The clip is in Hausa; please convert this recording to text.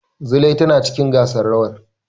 Zulai tana cikin gasar rawar.